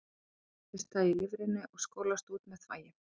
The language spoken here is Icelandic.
Þar umbreytist það í lifrinni og skolast út með þvagi.